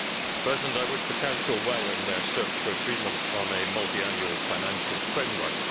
Mr President, I wish the Council well in its search for agreement on a multiannual financial framework.